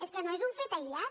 és que no és un fet aïllat